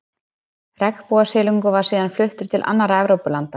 regnbogasilungur var síðan fluttur til annarra evrópulanda